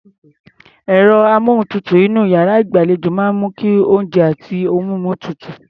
Ẹ̀rọ-amóhùntutù inú iyàrá ìgbàlejò máa ń mú kí oúnjẹ àti ohun mímu tutù.